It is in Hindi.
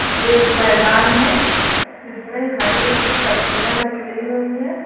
ये एक मैदान है जिसमें हरी हरी पत्तियां निकली हुई हैं।